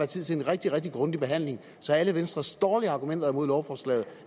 tid til en rigtig rigtig grundig behandling så alle venstres dårlige argumenter imod lovforslaget